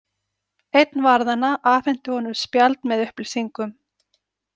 Einn varðanna afhenti honum spjald með upplýsingum.